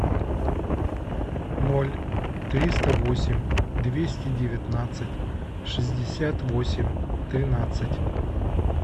ноль триста восемь двести девятнадцать шестьдесят восемь тринадцать